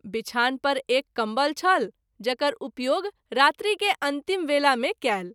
बिछान पर एक कम्बल छल जकर उपयोग रात्रि के अंतिम वेला मे कएल।